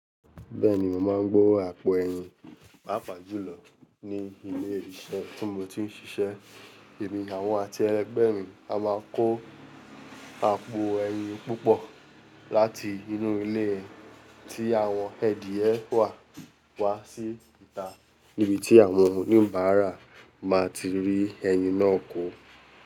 Bẹ́ẹ̀ni, mo máa ń gbe àpò ẹyin pàápàá jù lọ ní ilé ìṣẹ́ tí mo ti ń ṣiṣẹ́. Èmi, àwọn àti ẹgbẹ́ mi a máa kó àpò ẹyin púpọ̀ láti inú ilé tí àwọn ẹ̀dìrẹ wà wá sí ìta níbi tí àwọn oníbárà máa ti rí ẹyin náà kó.